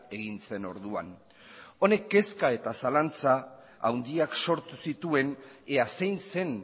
egin zen orduan honek kezka eta zalantza handiak sortu zituen ea zein zen